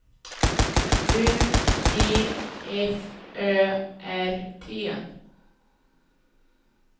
U T F Ö R T